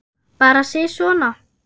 Bara sisona.